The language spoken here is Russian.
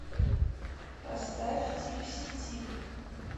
поставь типси тип